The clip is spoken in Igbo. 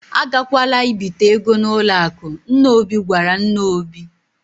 "A gakwala ibite ego n'ụlọ akụ, " nna Obi gwara nne Obi.